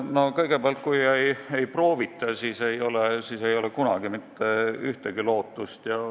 No kõigepealt, kui ei proovita, siis ei ole kunagi mingit lootust.